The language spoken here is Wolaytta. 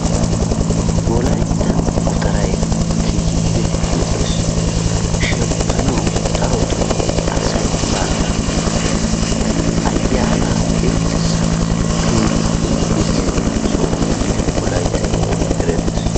Wolayitta gutaray keehippe lo"ees. Shemppanawu darotoo asay baaga ayyaanaa irxxissanaayyo keehippe injetiya soho gididi wolaytta giddon erettees.